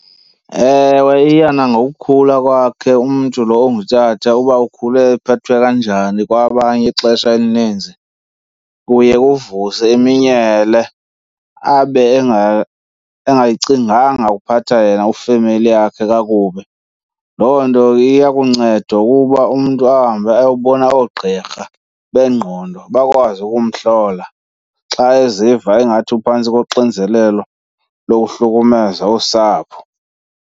Ewe, iya nangokhula kwakhe umntu lo ongutata uba ukhule ephethwe kanjani kwabanye ixesha elininzi. Kuye kuvuse iminyele abe engacinganga ukuphatha yena ifemeli yakhe kakubi. Loo nto iya kunceda ukuba umntu ahambe ayokubona oogqirha bengqondo bakwazi ukumhlola xa eziva ingathi uphantsi koxinzelelo lokuhlukumeza usapho.